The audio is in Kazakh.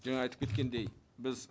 жаңа айтып кеткендей біз